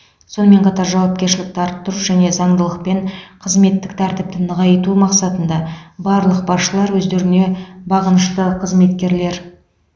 сонымен қатар жауапкершілікті арттыру және заңдылық пен қызметтік тәртіпті нығайту мақсатында барлық басшылар өздеріне бағынышты қызметкерлер